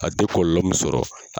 A tɛ kɔlɔlɔ min sɔrɔ